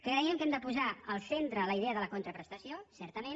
creiem que hem de posar al centre la idea de la contraprestació certament